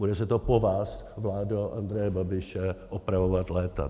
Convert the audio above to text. Bude se to po vás, vládo Andreje Babiše, opravovat léta.